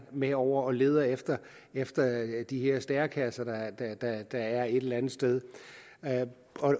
med over og leder efter efter de her stærekasser der er der er et eller andet sted